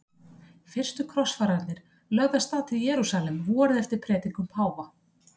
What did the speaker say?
Fyrstu krossfararnir lögðu af stað til Jerúsalem vorið eftir predikun páfa.